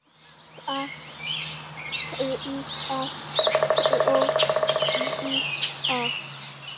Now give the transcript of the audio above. Dags hríðar spor svíða.